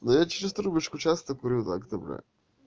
да я через трубочку часто курю так то бля